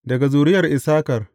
Daga zuriyar Issakar.